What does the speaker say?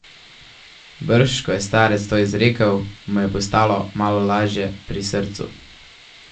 Brž ko je starec to izrekel, mu je postalo malo laže pri srcu.